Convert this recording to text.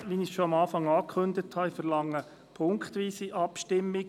Wie zu Beginn angekündigt, verlange ich eine punktweise Abstimmung.